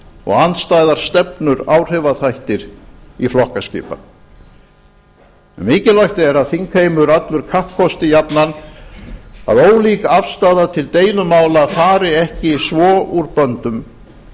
og andstæðar stefnur áhrifaþættir í flokkaskipan mikilvægt er að þingheimur allur kappkosti jafnan að ólík afstaða til deilumála fari ekki svo úr böndum